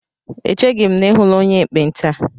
Echeghi m na I hụla onye ekpenta